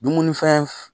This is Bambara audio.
Dumuni fɛn f